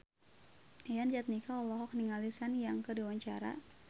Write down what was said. Yayan Jatnika olohok ningali Sun Yang keur diwawancara